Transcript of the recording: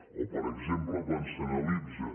o per exemple quan s’analitza